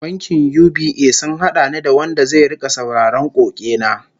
Bankin UBA sun hada ni da wanda zai rika sauraron koke na